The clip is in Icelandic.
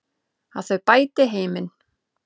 Að þau bæti heiminn.